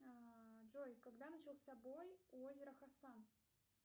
джой когда начался бой у озера хасан